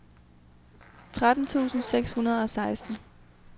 tretten tusind seks hundrede og seksten